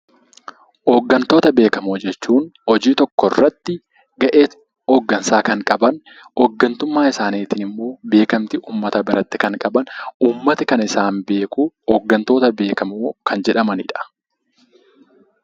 Hoggantoota beekamoo jechuun hojii tokko irratti gahee hoggansaa kan qaban, hoggantummaa isaaniitiin immoo beekamtii uummata biratti kan qaban, uummati kan isaan beeku hoggantoota beekamoo kan jedhamanidha.